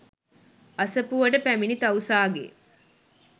අසපුවට පැමිණි තවුසාගේ